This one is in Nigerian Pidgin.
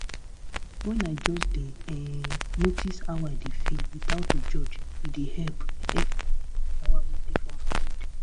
um when i just dey um notice how i dey feel without to judge e dey help help clear all the yawa wey dey for my head."